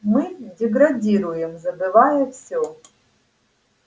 мы деградируем забывая всё